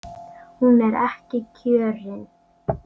Hún er ekki kjörin.